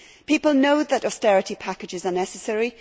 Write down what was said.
People know that austerity packages are necessary.